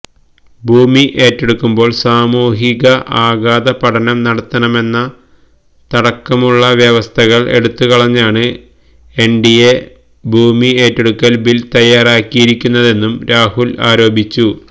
ഭൂമി ഏറ്റെടുക്കുമ്പോള് സാമൂഹിക ആഘാത പഠനം നടത്തണമെന്നതടക്കമുള്ള വ്യവസ്ഥകള് എടുത്തുകളഞ്ഞാണ് എന്ഡിഎ ഭൂമി ഏറ്റെടുക്കല് ബില് തയാറാക്കിയിരിക്കുന്നതെന്നും രാഹുല് ആരോപിച്ചു